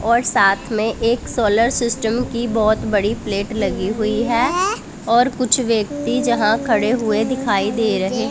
और साथ में एक सोलर सिस्टम की बहोत बड़ी प्लेट लगी हुई है और कुछ व्यक्ति जहां खड़े हुए दिखाई दे रहे--